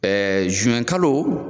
Ɛɛ zuwɛn kalo